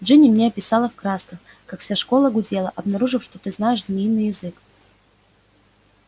джинни мне описала в красках как вся школа гудела обнаружив что ты знаешь змеиный язык